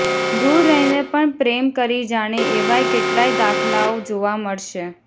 દૂર રહીને પણ પ્રેમ કરી જાણે એવાય કેટલાય દાખલાઓ જોવા મળશે